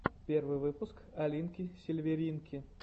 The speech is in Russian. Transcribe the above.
первый выпуск алинки сильверинки